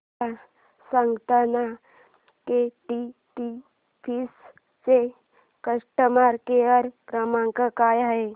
मला सांगाना केटीडीएफसी चा कस्टमर केअर क्रमांक काय आहे